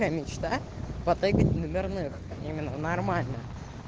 наверное нормально